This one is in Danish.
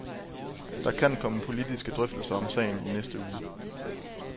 Der kan komme politiske drøftelser om sagen i næste uge.